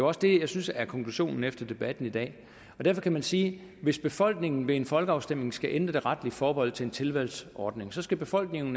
også det jeg synes er konklusionen efter debatten i dag derfor kan man sige at hvis befolkningen ved en folkeafstemning skal ændre det retlige forbehold til en tilvalgsordning så skal befolkningen